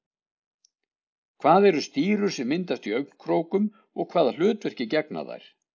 hvað eru stírur sem myndast í augnkrókum og hvaða hlutverki gegna þær